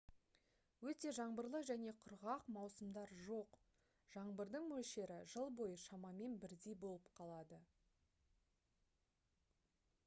өте «жаңбырлы» және «құрғақ» маусымдар жоқ: жаңбырдың мөлшері жыл бойы шамамен бірдей болып қалады